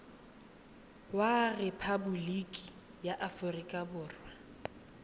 wa rephaboliki ya aforika borwa